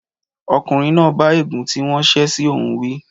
Ọkùnrin náà bá ègún tí wọ́n ṣe sí òun wí.